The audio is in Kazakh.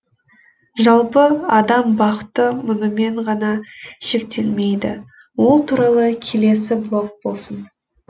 жалпы адам бақыты мұнымен ғана шектелмейді ол туралы келесі блог болсын